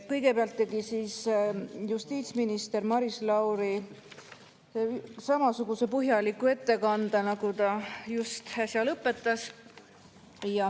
Kõigepealt tegi justiitsminister Maris Lauri samasuguse põhjaliku ettekande, nagu ta just äsja lõpetas.